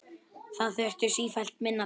Það þurfti sífellt minna til.